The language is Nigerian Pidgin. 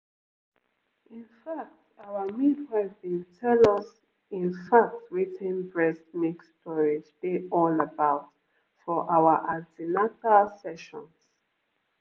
in fact our midwife been tell us in fact wetin breast milk storage dey all about for our an ten atal sessions